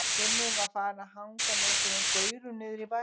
Gunni var farinn að hanga með einhverjum gaurum niðri í bæ.